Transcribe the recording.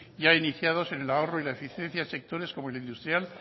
ya iniciados en el ahorro y la eficiencia en sectores como el industrial